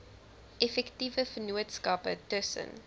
effektiewe vennootskappe tussen